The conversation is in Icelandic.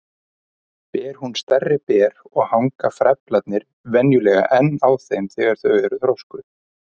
Ber hún stærri ber og hanga frævlarnir venjulega enn á þeim þegar þau eru þroskuð.